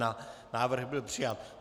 Návrh byl přijat.